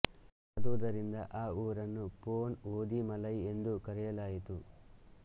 ಆದುದರಿಂದ ಆ ಊರನ್ನು ಪೊನ್ ಓಧಿ ಮಲೈ ಎಂದು ಕರೆಯಲಾಯಿತು